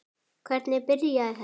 Hvernig byrjaði þetta?